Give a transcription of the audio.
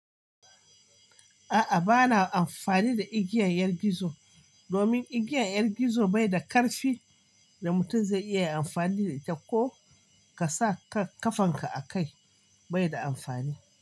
A'a, ba na amfani da igiyar 'yar gizo domin igiyar 'yar gizo bai da ƙarfin da mutum zai iya amfani da ita ko ka sa ka ƙafanka a kai bai da amfani.